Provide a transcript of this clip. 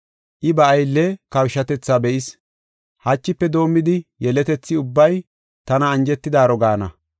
I ba aylle kawushatethaa be7is. Hachife doomidi yeletethi ubbay tana anjetidaaro gaana.